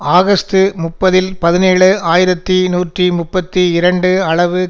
August முப்பதில் பதினேழு ஆயிரத்தி நூற்றி முப்பத்தி இரண்டு அளவு